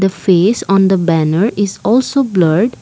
face on the banner is also blurred.